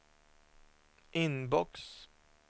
inbox